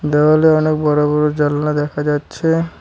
দেওয়ালে অনেক বড় বড় জানলা দেখা যাচ্ছে।